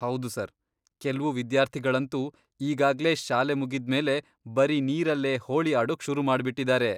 ಹೌದು ಸರ್, ಕೆಲ್ವು ವಿದ್ಯಾರ್ಥಿಗಳಂತೂ ಈಗಾಗ್ಲೇ ಶಾಲೆ ಮುಗಿದ್ಮೇಲೆ ಬರೀ ನೀರಲ್ಲೇ ಹೋಳಿ ಆಡೋಕ್ ಶುರು ಮಾಡ್ಬಿಟಿದಾರೆ!